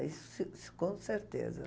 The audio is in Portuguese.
isso com certeza.